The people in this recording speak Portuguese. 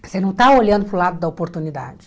Você não está olhando para o lado da oportunidade.